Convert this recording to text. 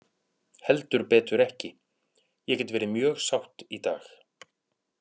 Heldur betur ekki, ég get verið mjög sátt í dag.